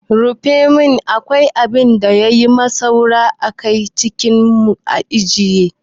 Rufi ne kawai abin da ya yi saura a aikin mu na jiya.